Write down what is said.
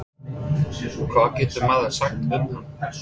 Hvað getur maður sagt um hann?